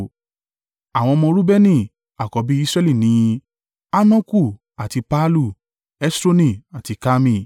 àwọn ọmọ Reubeni àkọ́bí Israẹli ni: Hanoku àti Pallu, Hesroni àti Karmi.